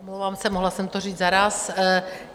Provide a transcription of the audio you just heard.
Omlouvám se, mohla jsem to říct zaráz.